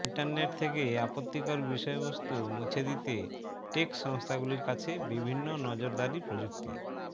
internet থেকে আপত্তিকর বিষয়বস্তু মুছে দিতে টেক সংস্থাগুলির কাছে বিভিন্ন নজরদারি প্রযুক্তি